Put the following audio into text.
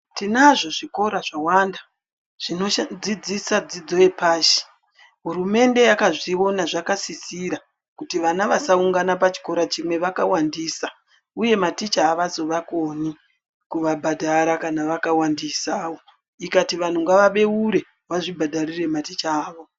Tinazvo zvikora zvawanda zvinodzidzisa dzidzo yepashi. Hurumende yakazviona zvakasisira kuti vana vasaungana pachikora chimwe vakawandisa, uye maticha havazovakoni kuvabhadhara kana vana vawandisawo. Ikati vanhu ngavabeure vazvibhadharire maticha avo.